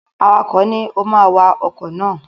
Awakọ̀ ni, "o ma wa ọkọ̀ náà!"